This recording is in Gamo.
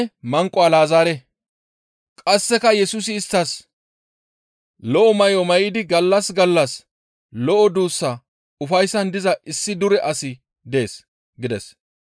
«Qasseka Yesusi isttas, ‹Lo7o may7o may7idi gallas gallas lo7o duussa ufayssan diza issi dure asi dees› gides.